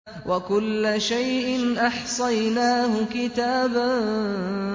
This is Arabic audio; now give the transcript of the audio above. وَكُلَّ شَيْءٍ أَحْصَيْنَاهُ كِتَابًا